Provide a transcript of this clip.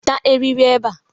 Weta eriri ebe a!